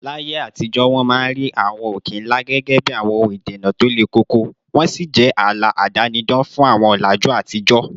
Láyé àtijọ́, wọ́n máa ń rí àwọn òkè ńlá gẹ́gẹ́ bí àwọn ohun ìdènà tó le koko, wọ́n sì jẹ́ ààlà àdánidá fún àwọn ọ̀làjú àtijọ́